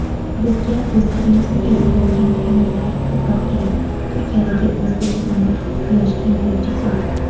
"Bizga o‘zligimizni eslatadigan filmlar ko‘proq kerak" — Turkiyadagi o‘zbekistonlik yosh kinorejissyor.